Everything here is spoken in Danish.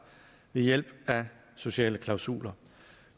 ved hjælp af sociale klausuler